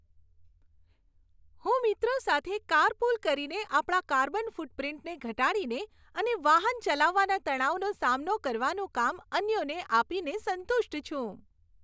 હું મિત્રો સાથે કારપુલ કરીને, આપણા કાર્બન ફૂટપ્રિન્ટને ઘટાડીને અને વાહન ચલાવવાના તણાવનો સામનો કરવાનું કામ અન્યોને આપીને સંતુષ્ટ છું.